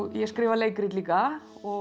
ég skrifa leikrit líka og